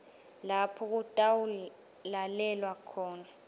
lapho kutawulalelwa khona